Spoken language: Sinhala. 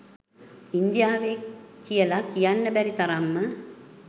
ඉන්දියාවෙ කියල කියන්න බැරි තරම්ම